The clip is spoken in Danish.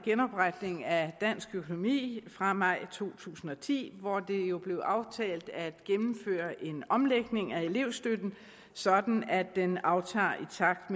genopretning af dansk økonomi fra maj to tusind og ti hvor det jo blev aftalt at gennemføre en omlægning af elevstøtten sådan at den aftager i takt